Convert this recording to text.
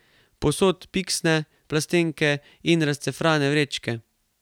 Povsod piksne, plastenke in razcefrane vrečke.